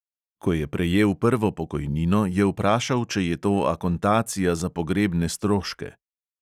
Ko je prejel prvo pokojnino, je vprašal, če je to akontacija za pogrebne stroške.